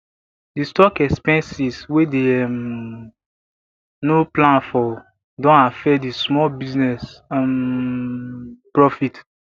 the stock expenses wey dey um no plan for don affect di small business um profit